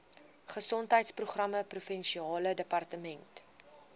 gesondheidsprogramme provinsiale departement